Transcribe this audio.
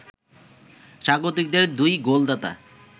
স্বাগতিকদের দুই গোলদাতা